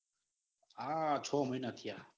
આ ચો મહિના થયા.